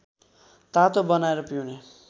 तातो बनाएर पिउने